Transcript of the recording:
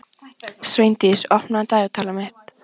Sveindís, opnaðu dagatalið mitt.